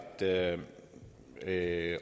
det herre